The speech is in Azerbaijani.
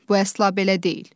Bu əsla belə deyil.